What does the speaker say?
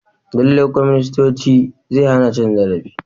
Lallai kwaminisanci zai hana cin zarafi.